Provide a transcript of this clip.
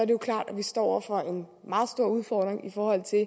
jo klart at vi står over for en meget stor udfordring i forhold til